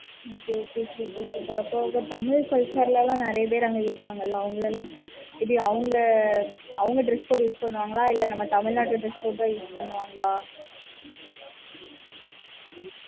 okay okay super Tamil culture ல நெறைய பேரு அங்க இருப்பாங்களா இது அவங்க அவங்க dress code use பண்ணுவாங்களா? இல்ல நம்ம தமிழ்நாடு dress code தான் use பண்ணுவாங்களா?